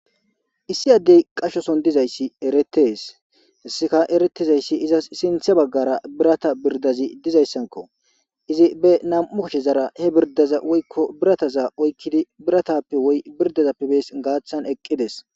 issi addey qashoson dizayssi eretees isika eretizayssi izas sinthe baggara birata birdazi dizayssanko izi be nam7u kashe zara he birdaza woykko birataza oykkidi biratappe woy birdazappebees gaathan eqqides